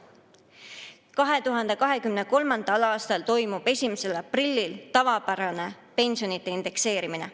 2023. aasta toimub 1. aprillil tavapärane pensionide indekseerimine.